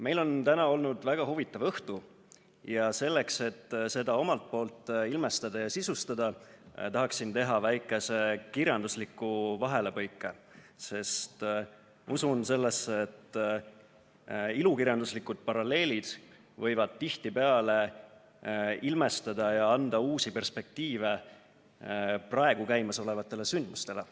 Meil on täna olnud väga huvitav õhtu ja selleks, et seda ilmestada ja sisustada, tahaksin teha väikese kirjandusliku vahelepõike, sest usun sellesse, et ilukirjanduslikud paralleelid võivad tihtipeale ilmestada ja anda uusi perspektiive praegu käimasolevatele sündmustele.